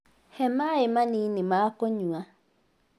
He maĩ manĩnĩ ma kũnyua